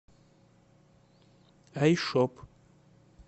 айшоп